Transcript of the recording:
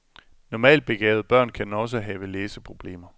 Normalt begavede børn kan også have læseproblemer.